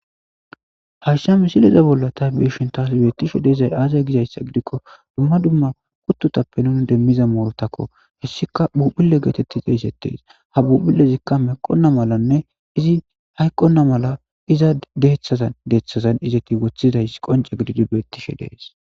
hashsha misiliza bolla ta beishin taas beettishe deezay aazay gizayssa gidikko dumma dumma kuttutappe nuni demmiza moorotakko hessika buphille geetetti xe eisettees ha buphilezikka meqonna malanne izi hayqqonna mala iza deeththazan deeththazan izeti wothidays qonca gididi beettishe dees